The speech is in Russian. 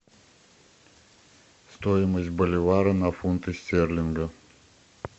стоимость боливара на фунты стерлинга